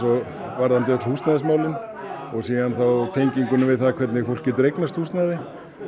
varðandi öll húsnæðismálin og síðan þá tenginguna við það hvernig fólk getur eignast húsnæði